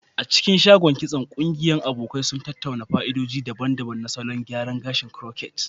A cikin shagon kitson, ƙungiyar abokai sun tattauna fa'idodi daban-daban na salon gyara gashi na crochet.